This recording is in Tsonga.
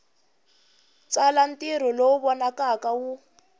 tsala ntirho lowu vonakaka wu